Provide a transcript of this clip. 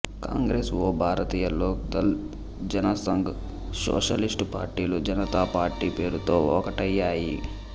కాంగ్రెస్ ఒ భారతీయ లోక్ దళ్ జనసంఘ్ సోషలిస్టు పార్టీలు జనతాపార్టీ పేరుతో ఒకటయ్యాయి